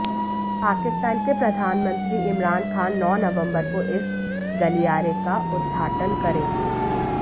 पाकिस्तान के प्रधानमंत्री इमरान खान नौ नवंबर को इस गलियारे का उद्घाटन करेंगे